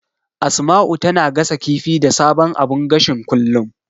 Asma'u tana gasa kifi da sabon abun gashin kullum.